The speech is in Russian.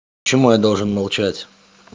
почему я должен молчать